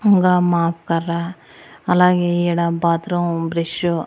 ఇంగా మాప్ కర్ర అలాగే ఈడ బాత్రూం బ్రస్సు --